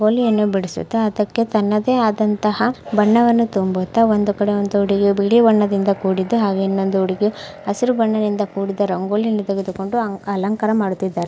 ಬಿಡಿಸುತ್ತಾ ಅದಕ್ಕೆ ತನ್ನದೇ ಆದಂತಹ ಬಣ್ಣವನ್ನು ತುಂಬುತ್ತಾ ಒಂದು ಕಡೆ ಒಂದು ಹುಡುಗಿಯು ಬಿಳಿ ಬಣ್ಣದಿಂದ ಕೂಡಿದ್ದು ಹಾಗೆ ಇನ್ನೊಂದು ಹುಡುಗಿಯು ಹಸಿರು ಬಣ್ಣದಿಂದ ಕೂಡಿದ ರಂಗೋಲಿಯನ್ನು ತೆಗೆದುಕೊಂಡು ಆ ಅಲಂಕಾರ ಮಾಡುತ್ತಿದ್ದಾರೆ.